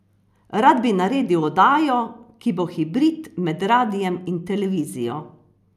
Rad bi naredil oddajo, ki bo hibrid med radiem in televizijo.